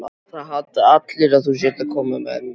Það halda allir að þú sért að koma með mig.